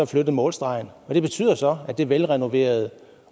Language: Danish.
flyttet målstregen og det betyder så at det velrenoverede